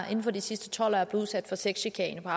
cekic